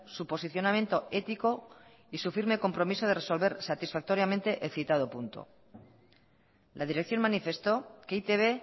su posicionamiento ético y su firme compromiso de resolver satisfactoriamente el citado punto la dirección manifestó que e i te be